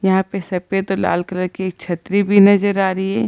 यहाँ पे सफेद और लाल कलर की छतरी भी नजर आ रही है।